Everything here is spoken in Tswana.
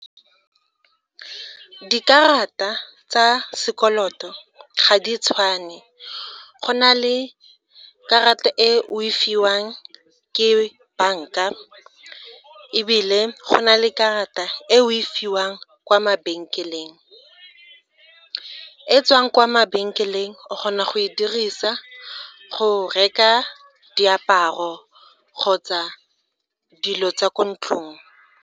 Dikarata tsa sekoloto ga di tshwane, go na le karata e o e fiwang ke banka ebile go na le karata e o e fiwang kwa mabenkeleng e e tswang kwa mabenkeleng, o kgona go e dirisa go reka diaparo kgotsa dilo tsa ko ntlong.